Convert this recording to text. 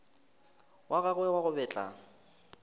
wa gagwe wa go betla